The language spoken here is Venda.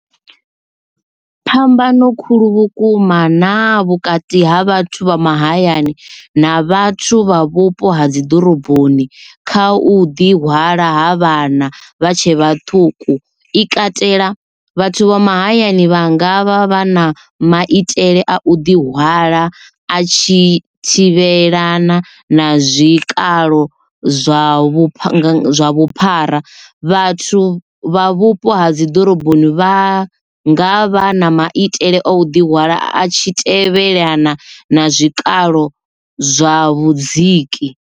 Phambano khulu vhukuma na vhukati ha vhathu vha mahayani na vhathu vha vhupo ha dzi ḓoroboni kha u ḓi hwala ha vhana vha tshe vhaṱuku i katela vhathu vha mahayani vha ngavha vha na maitele a u ḓi hwala a tshi thivhelana na zwikalo zwa vhupfa vhuphara vhathu vha vhupo ha dzi ḓoroboni vha nga vha na maitele o ḓi hwala a tshi tevhelana na zwikalo zwa vhudziki.